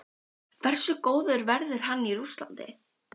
Hversu góður verður hann í Rússlandi?